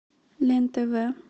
лен тв